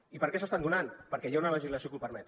i per què s’estan donant perquè hi ha una legislació que ho permet